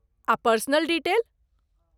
आ personal detail?